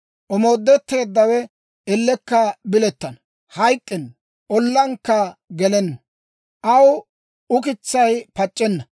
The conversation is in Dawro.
Omoodetteeddawe ellekka bilettana; hayk'k'enna; ollankka gelenna; aw ukitsaykka pac'c'enna.